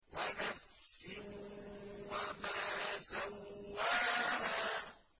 وَنَفْسٍ وَمَا سَوَّاهَا